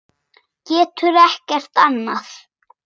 Getur ekkert annað.